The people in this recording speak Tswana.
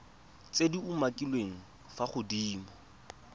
tse di umakiliweng fa godimo